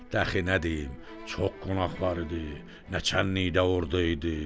dəxi nə deyim, çox qonaq var idi, nəçənlilikdə ordu idi.